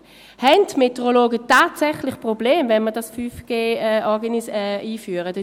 Haben die Meteorologen tatsächlich Probleme, wenn man 5G einführt?